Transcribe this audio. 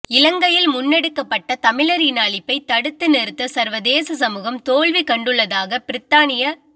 இலங்கையில் முன்னெடுக்கப்பட்ட தமிழர் இன அழிப்பை தடுத்து நிறுத்த சர்வதேச சமூகம் தோல்வி கண்டுள்ளதாக பிரித்தானிய